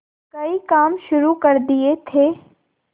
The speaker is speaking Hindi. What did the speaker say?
कई काम शुरू कर दिए थे